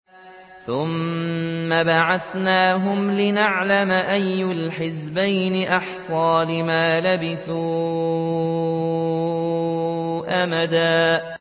ثُمَّ بَعَثْنَاهُمْ لِنَعْلَمَ أَيُّ الْحِزْبَيْنِ أَحْصَىٰ لِمَا لَبِثُوا أَمَدًا